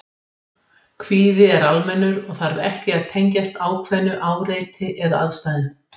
Kvíði er almennur og þarf ekki að tengjast ákveðnu áreiti eða aðstæðum.